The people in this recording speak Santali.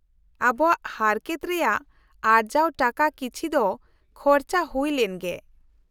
-ᱟᱵᱚᱣᱟᱜ ᱦᱟᱨᱠᱮᱛ ᱨᱮᱭᱟᱜ ᱟᱨᱡᱟᱣ ᱴᱟᱠᱟ ᱠᱤᱪᱷᱤ ᱫᱚ ᱠᱷᱚᱨᱪᱟ ᱦᱩᱭ ᱞᱮᱱ ᱜᱮ ᱾